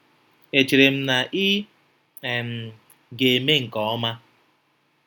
Echere m na ị um ga-eme nke ọma?